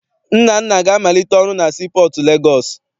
Nnanna ga-amalite ọrụ na sii pọọtụ Legọọsị.